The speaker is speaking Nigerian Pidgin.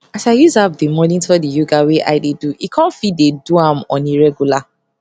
as i use app dey monitor di yoga wey i dey do e com fit dey do am on a regular